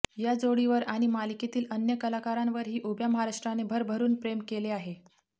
या जोडीवर आणि मालिकेतील अन्य कलाकारांवरही उभ्या महाराष्ट्राने भरभरुन प्रेम केले आहे